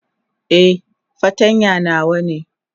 Eh, fartanya nawa ne.